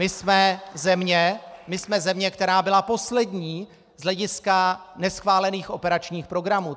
My jsme země, která byla poslední z hlediska neschválených operačních programů.